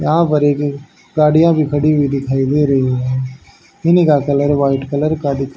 यहां पर एक गाड़ियां भी खड़ी हुई दिखाई दे रही है इनका कलर वाइट कलर का दिख--